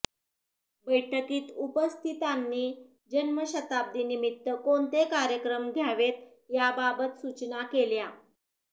बैठकीत उपस्थितांनी जन्मशताब्दीनिमित्त कोणते कार्यक्रम घ्यावेत याबाबत सूचना केल्या